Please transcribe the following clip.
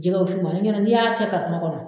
Jɛgɛ wusu ma ne ɲɛnɛ n'i y'a kɛ kɔnɔ.